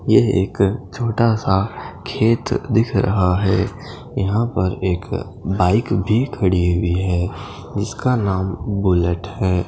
यह एक छोटा सा खेत दिख रहा है यहाँ पर एक बाइक भी खड़ी हुई है इसका नाम बुलेट है।